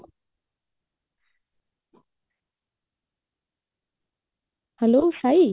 hello Sai